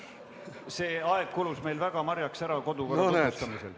See aeg kulus meil marjaks ära kodukorra tutvustamiseks.